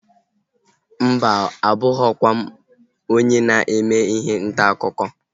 Mba oo, abụghọkwa m onye na-eme ihe ntaakụkọ